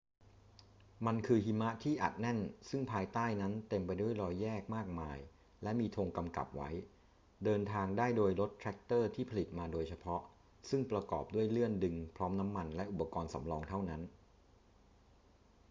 มันคือหิมะที่อัดแน่นซึ่งภายใต้นั้นเต็มไปด้วยรอยแยกมากมายและมีธงกำกับไว้ เดินทางได้โดยรถแทรกเตอร์ที่ผลิตมาโดยเฉพาะซึ่งประกอบด้วยเลื่อนดึงพร้อมน้ำมันและอุปกรณ์สำรองเท่านั้น